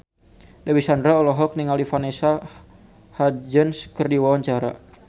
Dewi Sandra olohok ningali Vanessa Hudgens keur diwawancara